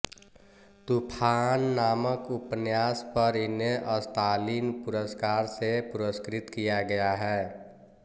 तूफान नामक उपन्यास पर इन्हें स्तालिन पुरस्कार से पुरस्कृत किया गया है